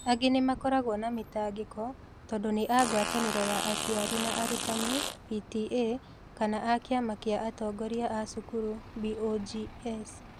Angĩ nao makoragwo na mĩtangĩko tondũ nĩ a Ngwatanĩro ya Aciari na Arutani (PTA) kana a Kĩama kĩa Atongoria a Cukuru (BOGs).